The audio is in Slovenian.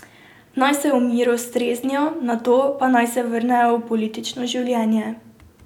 Naj se v miru streznijo, nato pa naj se vrnejo v politično življenje.